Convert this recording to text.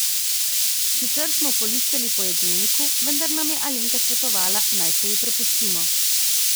Sicer smo polistali po jedilniku, vendar nam je Alenka svetovala, naj se ji prepustimo.